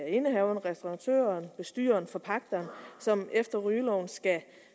indehaveren restauratøren bestyreren forpagteren som efter rygeloven skal